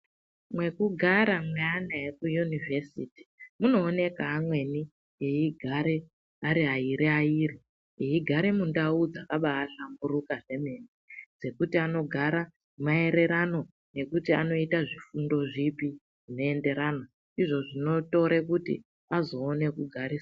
Mwekugara mweantu ekuyunivhesiti munooneka amweni eigare ari airi ariri eigare mundau dzakambaahlamburuka kwemene dzekuti anogara maererano nekuti anoita zvifundo zvipi zvinoenderana ndizvo zvinotore kuti azoona kugarisana.